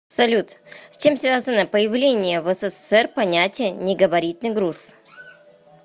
салют с чем связано появление в ссср понятия негабаритный груз